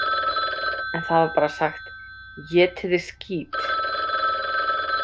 En það var bara sagt: „Étiði skít!“